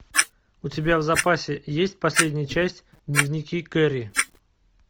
у тебя в запасе есть последняя часть дневники кэрри